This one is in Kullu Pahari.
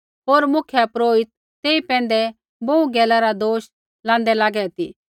होर मुख्यपुरोहित तेई पैंधै बोहू गैला रा दोष लांदै लागे ती